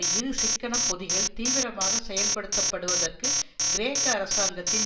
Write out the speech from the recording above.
இரு சிக்கனப் பொதிகள் தீவிரமாக செயல்படுத்தப்படுவதற்கு கிரேக்க அரசாங்கத்தின்